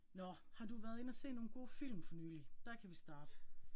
Nåh, har du været inde og se nogle gode film for nylig? Der kan vi starte